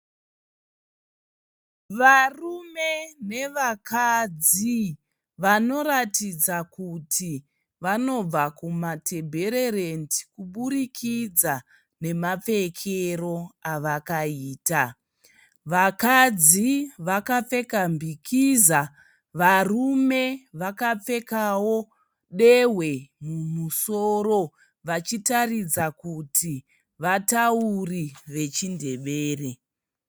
Varume nevakadzi vanoratidza kuti vanobva kumatebhererendi kuburikidza nemapfekero avakaita. Vakadzi vakapfeka mbikiza varume vakapfekawo dehwe mumusoro vachitaridza kuti vatauri vechindevere.